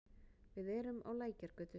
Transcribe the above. Við erum á Lækjargötu.